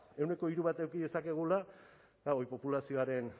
ehuneko hiru bat eduki dezakegula eta hori populazioaren